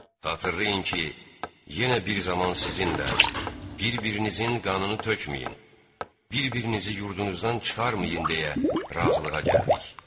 Xatırlayın ki, yenə bir zaman sizinlə bir-birinizin qanını tökməyin, bir-birinizi yurdunuzdan çıxarmayın deyə razılığa gəldik.